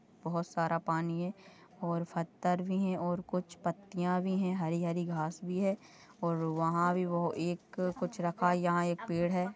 बहुत सारा पानी है और पत्थर भी है और कुछ पत्तियां भी है हरी-हरी घास भी है और वहाँ भी एक कुछ रखा है यहाँ एक पेड़ है।